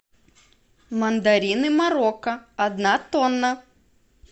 мандарины марокко одна тонна